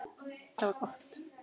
Það var gott.